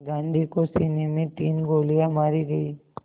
गांधी को सीने में तीन गोलियां मारी गईं